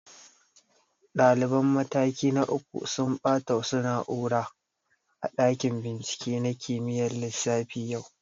Ɗaliban mataki na uku sun ɓata wasu na'ura a ɗakin bincike na kimiyyar lissafi yau